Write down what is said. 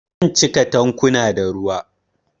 Zan cika tankunan da ruwa